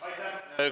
Aitäh!